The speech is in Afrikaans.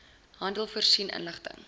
handel voorsien inligting